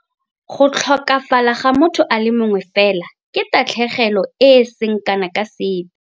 Go tlhokafala ga motho a le mongwe fela ke tatlhegelo e e seng kana ka sepe.